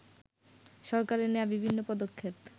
সরকারের নেয়া বিভিন্ন পদক্ষেপ